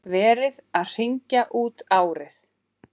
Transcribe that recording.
Verið að hringja út árið.